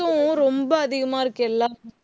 fees உம் ரொம்ப அதிகமா இருக்கு எல்லாம்